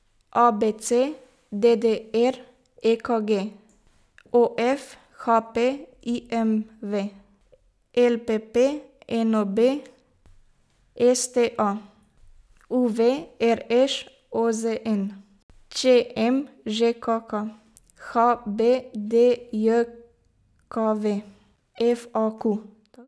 A B C; D D R; E K G; O F; H P; I M V; L P P; N O B; S T A; U V; R Š; O Z N; Č M; Ž K K; H B D J K V; F A Q.